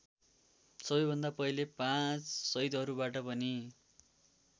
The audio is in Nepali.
सबैभन्दा पहिले पाँच सदिहरूबाट पनि